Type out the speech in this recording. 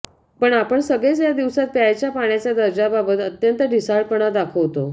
पण आपण सगळेच या दिवसांत प्यायच्या पाण्याच्या दर्जाबाबत अत्यंत ढिसाळपणा दाखवतो